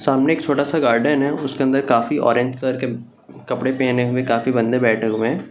सामने एक छोटा सा गार्डन है उसके अंदर काफी ऑरेंज कलर के कपड़े पहने हुए काफी बंदे बैठे हुए है।